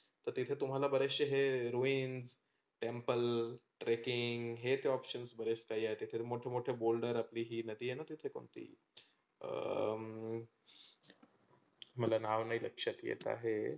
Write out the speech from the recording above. तर त्याचे तुम्हाला बरेचशे हे ruin temple, trekking हेच options बरेच काही मोठे मोठे बोलनार, ती नदी आहे ना तीथे कोणती अह मला नाव नाही लक्षात येत आहे.